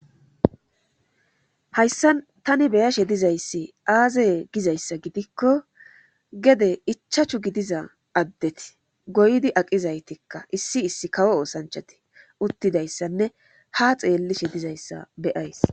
Hayssa tani beyashe dizayssi aazeye gizayssa gidikko gede ichachu gidiza addeti goydi aqizaytikka issi issi kawo oosanchati uttidayssanne ha xeellishe dizayssa beyays